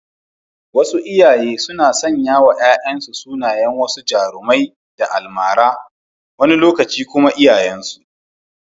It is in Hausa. Wasu iyaye suna sanyawa ‘ya’yansu sunayen wasu jarumai da almara, wani lokaci kuma iyayensu.